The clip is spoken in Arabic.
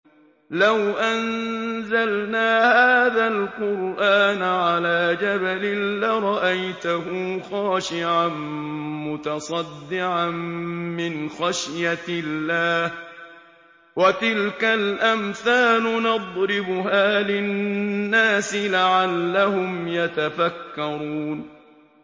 لَوْ أَنزَلْنَا هَٰذَا الْقُرْآنَ عَلَىٰ جَبَلٍ لَّرَأَيْتَهُ خَاشِعًا مُّتَصَدِّعًا مِّنْ خَشْيَةِ اللَّهِ ۚ وَتِلْكَ الْأَمْثَالُ نَضْرِبُهَا لِلنَّاسِ لَعَلَّهُمْ يَتَفَكَّرُونَ